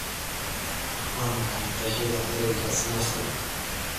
Waa maxay qeexida erayga snafu?